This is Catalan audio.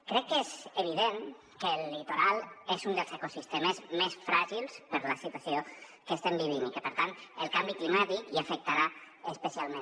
crec que és evident que el litoral és un dels ecosistemes més fràgils per la situació que estem vivint i que per tant el canvi climàtic hi afectarà especialment